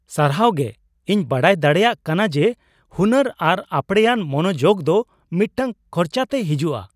ᱥᱟᱨᱦᱟᱣ ᱜᱮ ! ᱤᱧ ᱵᱟᱰᱟᱭ ᱫᱟᱲᱮᱭᱟᱜ ᱠᱟᱱᱟ ᱡᱮ ᱦᱩᱱᱟᱹᱨ ᱟᱨ ᱟᱯᱲᱮᱭᱟᱱ ᱢᱚᱱᱚᱡᱳᱜ ᱫᱚ ᱢᱤᱫᱴᱟᱝ ᱠᱷᱚᱨᱪᱟᱛᱮ ᱦᱤᱡᱩᱜᱼᱟ ᱾